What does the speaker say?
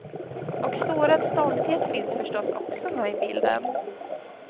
Och sårad stolthet finns förstås också med i bilden.